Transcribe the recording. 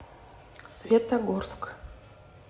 светогорск